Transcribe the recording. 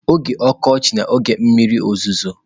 Oge ọkọchị na oge mmiri ozuzo.